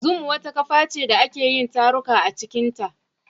Zoom wata kafa ce da ake yin taruka a cikinta.